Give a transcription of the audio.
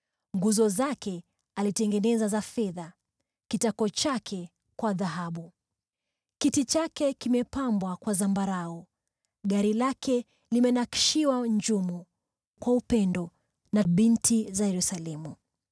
Nguzo zake alizitengeneza kwa fedha, kitako chake kwa dhahabu. Kiti chake kilipambwa kwa zambarau, gari lake likanakshiwa njumu kwa upendo na binti za Yerusalemu.